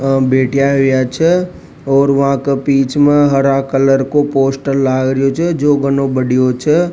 बैठ्या आ छ और बा के बिच में हरा कलर का पोस्टर लाग रहा छ जो घनो बडो छ।